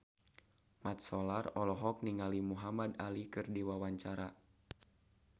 Mat Solar olohok ningali Muhamad Ali keur diwawancara